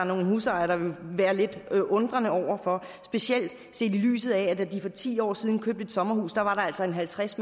nogle husejere der vil være lidt undrende over for specielt set i lyset af at der da de for ti år siden købte et sommerhus altså var halvtreds